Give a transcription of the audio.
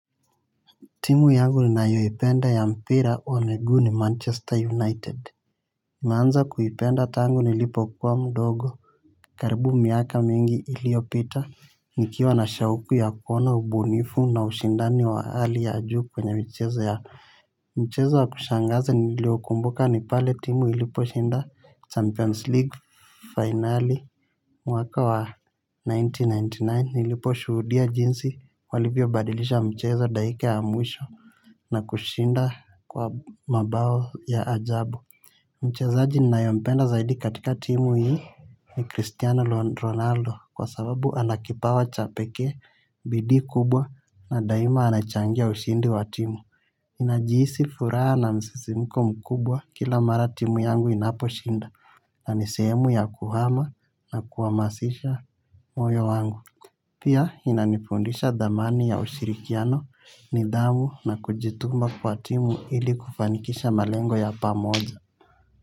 Timu yangu ninayoipenda ya mpira wa miguu ni Manchester United. Meanza kuipenda tangu nilipokuwa mdogo karibu miaka mingi iliyopita nikiwa na shauku ya kuona ubunifu na ushindani wa hali ya juu kwenye michezo ya. Mchezo wa kushangaza niliokumbuka ni pale timu iliposhinda champions league finali. Mwaka wa nineteen ninety nine niliposhuhudia jinsi walivyobadilisha mchezo dakika ya mwisho na kushinda kwa mabao ya ajabu mchezaji ninayempenda zaidi katika timu hii ni Christiano Ronaldo, kwa sababu ana kipawa cha pekee, bidii kubwa na daima anachangia ushindi wa timu najihisi furaha na msisimko mkubwa kila mara timu yangu inaposhinda. Na ni sehemu ya kuhama na kuhamasisha moyo wangu. Pia inanifundisha dhamani ya ushirikiano nidhamu na kujituma kwa timu ili kufanikisha malengo ya pamoja.